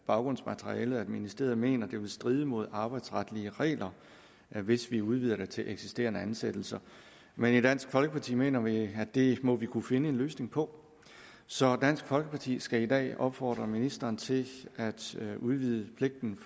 baggrundsmaterialet at ministeriet mener det vil stride mod arbejdsretlige regler hvis vi udvider det til eksisterende ansættelser men i dansk folkeparti mener vi at det må vi kunne finde en løsning på så dansk folkeparti skal i dag opfordre ministeren til at udvide pligten